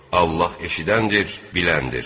Allah eşidəndir, biləndir.